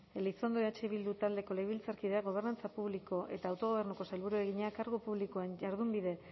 elizondo eh bildu taldeko legebiltzarkideak gobernantza publiko eta autogobernuko sailburuari egina kargu publikoen jardunbide